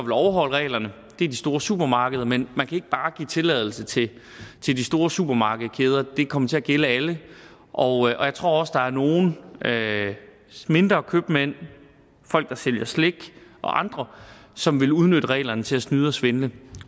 overholde reglerne og det er de store supermarkeder men man kan ikke bare give tilladelse til de store supermarkedskæder for det kommer til at gælde alle og jeg tror også at der er nogle mindre købmænd folk der sælger slik og andre som vil udnytte reglerne til at snyde og svindle